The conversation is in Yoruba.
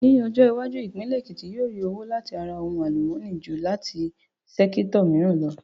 Ní ọjọ́ iwájú, ìpínlẹ̀ Èkìtì yóò rí owó láti ara ohun àlùmọ́nì ju láti sẹ́kítọ̀ mìíràn lọ